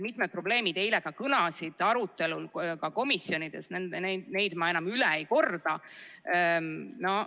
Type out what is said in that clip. Mitmed probleemid eile komisjonis arutelul ka kõlasid, neid ma enam üle ei korda.